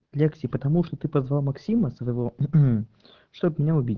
лекции потому что ты позвал максима своего чтобы меня убить